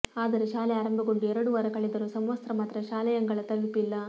ಆದರೆ ಶಾಲೆ ಆರಂಭಗೊಂಡು ಎರಡು ವಾರ ಕಳೆದರೂ ಸಮವಸ್ತ್ರ ಮಾತ್ರ ಶಾಲೆಯಂಗಳ ತಲುಪಿಲ್ಲ